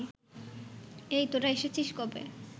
এই, তোরা এসেছিস কবে